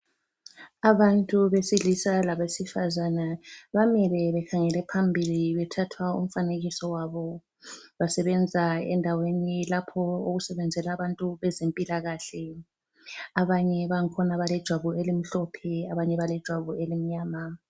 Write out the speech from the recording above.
Abantu besilisa labesifazana bamile bekhangele phambili bethathwa umfanekiso. Basebenza endaweni lapho okusebenzela abantu abezempilakahle. Abanye bangikhona balejwabu elimhlophe abanye balejwabu elimnyama.